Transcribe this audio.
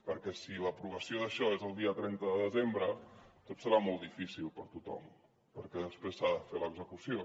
perquè si l’aprovació d’això és el dia trenta de desembre tot serà molt difícil per a tothom perquè després se n’ha de fer l’execució